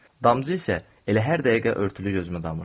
Damcı isə elə hər dəqiqə örtülü gözümə damırdı.